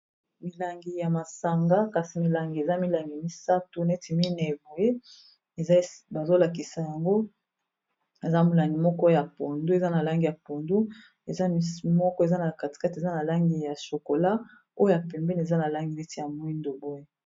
Milangi ya masanga kasi milangi eza milangi misato neti mineye boye bazolakisa yango eza molangi moko ya pondu eza na langi ya pondu eza moko eza na kati kati eza na langi ya chokola oyo ya pembeni eza na langi neti ya moyindo boye.